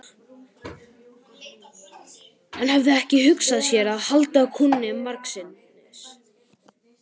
Hann hafði ekki hugsað sér að halda kúnni margsinnis.